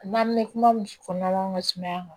N'an bɛ kuma min fɔla mansumaya kan